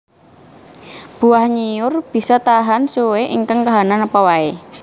Buah nyiur bisa tahan suwe ing kahanan apa wae